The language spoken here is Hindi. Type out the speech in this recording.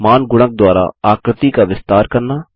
मान गुणक द्वारा आकृति का विस्तार करना